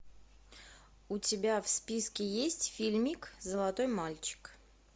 у тебя в списке есть фильмик золотой мальчик